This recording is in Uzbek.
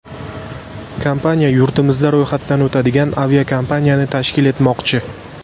Kompaniya yurtimizda ro‘yxatdan o‘tadigan aviakompaniyani tashkil etmoqchi.